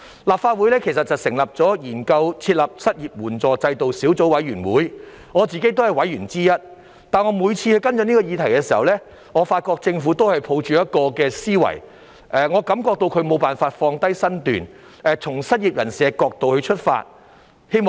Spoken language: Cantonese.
立法會其實成立了研究在港設立失業援助制度小組委員會，我自己也是委員之一，但我每次跟進這個議題時，我發覺政府也是抱着同一種思維，感覺到他們無法放下身段，從失業人士的角度出發。